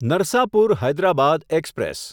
Narsapur Hyderabad express